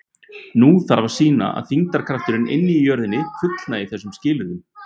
Nú þarf að sýna að þyngdarkrafturinn inni í jörðinni fullnægi þessum skilyrðum.